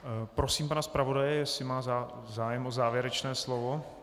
Prosím pana zpravodaje, jestli má zájem o závěrečné slovo.